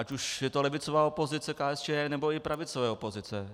Ať už je to levicová opozice KSČM, nebo i pravicové opozice.